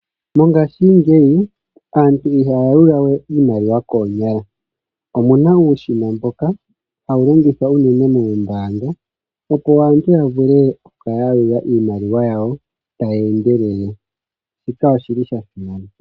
Mongaashingeyi aantu ihaya yalula we iimaliwa koonyala omuna uushina mboka hawu longithwa unene moombaanga, opo aantu ya vule oku kala ya yalula iimaliwa yawo taye endelele, shika oshi li sha simana.